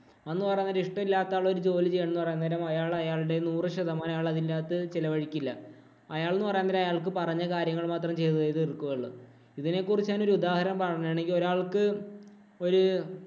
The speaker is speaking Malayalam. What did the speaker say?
എന്ന് പറയാൻ നേരം ഇഷ്ടമില്ലാത്ത ഒരാള് ജോലി ചെയ്യണം എന്ന് പറയുന്നേരം അയാള്‍ അയാളുടെ നൂറ്ശതമാനം അയാള് അതിന്റകത്ത് ചെലവഴിക്കില്ല. അയാള്‍ എന്ന് പറയുന്നേരം അയാള്‍ക്ക് പറഞ്ഞ കാര്യങ്ങള്‍ മാത്രം ചെയ്തു തീര്‍ക്കുവേ ഉള്ളൂ. ഇതിനെ കുറിച്ച് ഞാനൊരു പറയുകയാണെങ്കില്‍ ഒരാള്‍ക്ക്‌ ഒരു